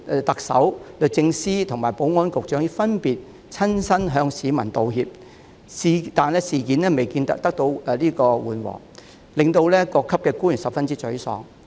特首、律政司及保安局局長早前已分別親自向市民道歉，但事情未見緩和，致令各級官員十分沮喪。